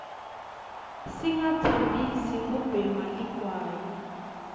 singa tsanbzi kubhema ligwayi